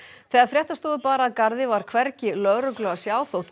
þegar fréttastofu bar að garði var hvergi lögreglu að sjá þótt